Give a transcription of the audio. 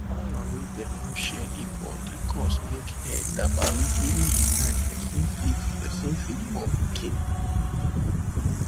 power wey them no share equal dey cause make head dabaru during the time person fit person fit born pikin